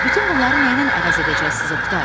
Bütün bunları nəylə əvəz edəcəksiniz Oqtay?